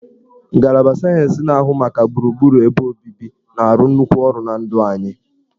Ngalaba sayensị na-ahụ maka gburugburu ebe obibi na-arụ nnukwu ọrụ na ndụ anyị